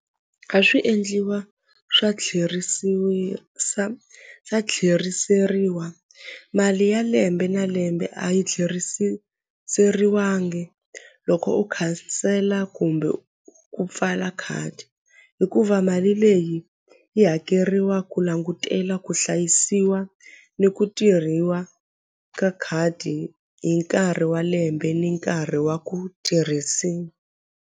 A swi endliwa swa swa tlheriseriwa mali ya lembe na lembe a yi tlherisiseriwangi loko u khansela kumbe ku pfala khadi i ku va mali leyi yi hakeriwa ku langutela ku hlayisiwa ni ku tirhiwa ka khadi hi nkarhi wa lembe ni nkarhi wa ku tirhisiwa.